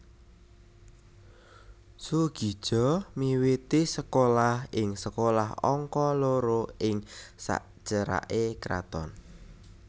Soegija miwiti sekolah ing Sekolah Angka Loro ing saceraké Kraton